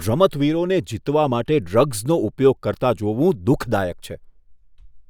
રમતવીરોને જીતવા માટે ડ્રગ્સનો ઉપયોગ કરતા જોવું દુઃખદાયક છે.